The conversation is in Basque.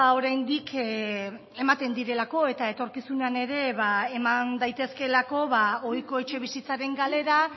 oraindik ematen direlako eta etorkizunean ere eman daitezkeelako ohiko etxebizitzaren galera